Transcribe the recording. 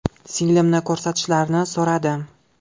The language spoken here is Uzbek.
Singlimni ko‘rsatishlarini so‘radim.